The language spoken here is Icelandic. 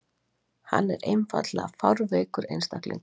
Hann er einfaldlega fárveikur einstaklingur.